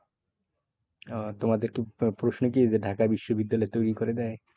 ওহ তোমাদের কি প্রশ্ন কি ঢাকা বিশ্ববিদ্যালয় তৈরী করে দেয়?